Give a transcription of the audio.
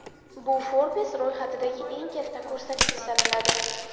Bu Forbes ro‘yxatidagi eng katta ko‘rsatkich sanaladi.